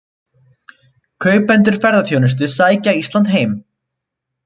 Kaupendur ferðaþjónustu sækja Ísland heim